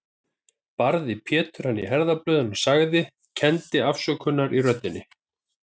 Barði Pétur hann í herðablöðin, sagði, og kenndi afsökunar í röddinni